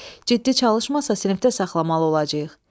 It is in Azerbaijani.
Ciddi çalışmasa sinifdə saxlamalı olacağıq.